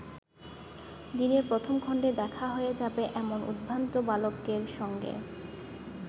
দিনের প্রথম খণ্ডে দেখা হয়ে যাবে এক উদ্ভ্রান্ত বালকের সঙ্গে।